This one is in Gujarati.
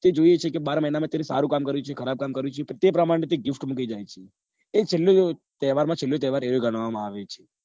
તે જોયું છે કે બાર મહિના માં કોને સારું કામ કર્યું છે કે ખરાબ કર્યું છે તે પ્રમાણે તે gift મૂકી જાય છે તે છેલ્લે તહેવાર માં છેલો તહેવાર એ ગણવા માં આવે છે